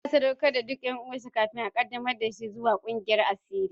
Ya sadaukar da duk ’yan uwansa kafin a qaddamar da shi zuwa ga kungiyar asiri.